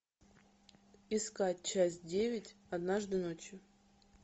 искать часть девять однажды ночью